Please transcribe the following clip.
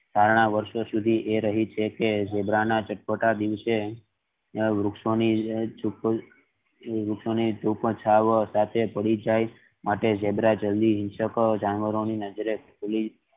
ધારણા વર્ષો સુધી એ રહી છે કે ઝીબ્રા ના જતા દિવસ સે વૃક્ષો ની સાથે પડી જાય માટે ઝીબ્રા જલ્દી જાનવરો ની નજરે